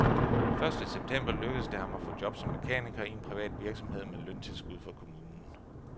Første september lykkedes det ham at få job som mekaniker i en privat virksomhed med løntilskud fra kommunen.